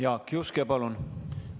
Jaak Juske, palun!